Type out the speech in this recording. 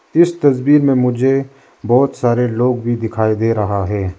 इस तस्वीर में मुझे बहुत सारे लोग भी दिखाई दे रहा है।